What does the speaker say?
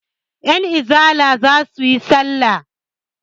Yanizala za su yi salla.